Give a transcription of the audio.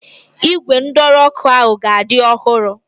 Ígwè ndọrọ ọ́kụ́ ahụ ka dị ọhụrụ.